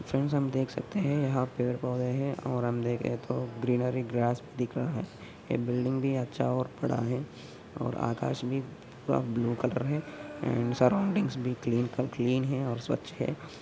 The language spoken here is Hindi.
फ्रैंड्स हम देख सकते है। यहा पेड़ पौधे है और हम देखे तो ग्रीनरी ग्रास भी दिख रहा है। एक बिल्डिंग भी अच्छा और पड़ा है और आकाश भी ब-ब्लू कलर है। एंड सरौंडिंग भी क्लीन क-क्लीन है और स्वच्छ है।